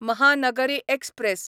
Mahanagari express